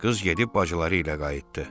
Qız gedib bacıları ilə qayıtdı.